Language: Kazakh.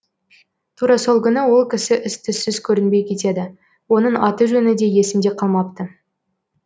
тура сол күні ол кісі із түзсіз көрінбей кетеді оның аты жөні де есімде қалмапты